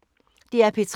DR P3